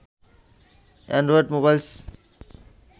Android mobiles